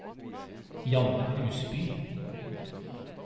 Janne Husby